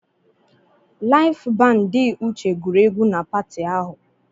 Laịf bandị Uche gụrụ egwu na pati ahụ.